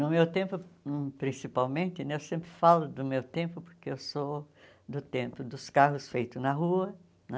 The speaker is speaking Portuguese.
No meu tempo, hum principalmente né, eu sempre falo do meu tempo, porque eu sou do tempo dos carros feitos na rua, né?